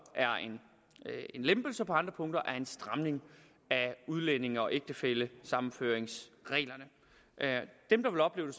er en lempelse og på andre punkter er en stramning af udlændinge og ægtefællesammenføringsreglerne dem der vil opleve